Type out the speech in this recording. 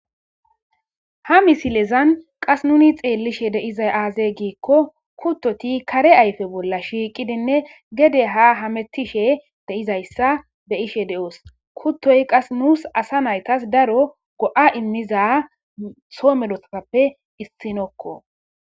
ha misilezan qas nuni xeellishe de7izay aazee giikko kuttoti kare ayfe bolla shiiqidinne gede ha hamettishe de7izayssa be7ishe de7oos kuttoy qas nuus asa naytas daro go7a immiza soo medosappe issinokko